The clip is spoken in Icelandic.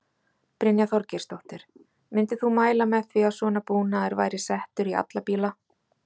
Brynja Þorgeirsdóttir: Myndir þú mæla með því að svona búnaður væri settur í alla bíla?